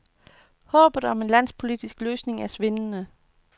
Håbet om en landspolitisk løsning er svindende.